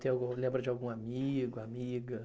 Tem algum, lembra de algum amigo, amiga?